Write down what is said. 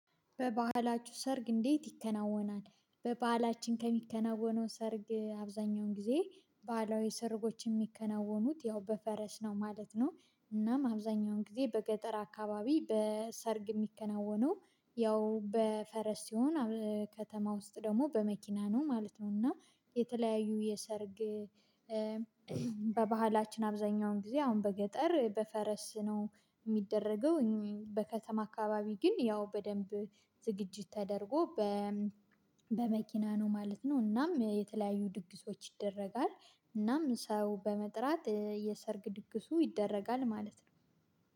በባህላችሁ ሰርግ እንዴት ይከናወናል? በባህላችን ከሚከናወነው ሰርግ አብዛኛውን ጊዜ ባህላዊ ሰርጎች የሚከናወኑት ያው በፈረስ ነው ማለት ነው። እናም አብዛኛውን ጊዜ በገጠር አካባቢ በሰርግ የሚከናወነው ያው በፈረስ ሲሆን። ከተማ ውስጥ ደግሞ በመኪና ነው ማለት ነው። እና የተለያዩ የሰርግ በባህላችን አብዛኛውን ጊዜ አሁን በገጠር በፈረስ ነው የሚደረገው። በከተማ አካባቢ ግን ያው በደንብ ዝግጅት ተደርጎ በ በመኪና ነው ማለት ነው። እናም የተለያዩ ድግሶች ይደረጋል እናም ሰው በመጥራት የሰርግ ድግሱ ይደረጋል ማለት ነው